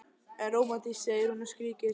En rómantískt, segir hún og skríkir.